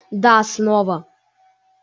да снова